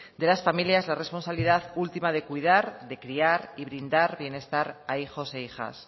de las familias la responsabilidad última de cuidar de criar y brindar bienestar a hijos e hijas